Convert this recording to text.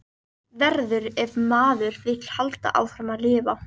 Verður- ef maður vill halda áfram að lifa.